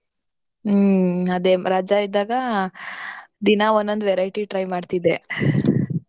ಹ್ಮ್ ಅದೇ ರಜಾ ಇದ್ದಾಗಾ ದಿನಾ ಒಂದೊಂದ್ variety try ಮಾಡ್ತಿದ್ದೆ .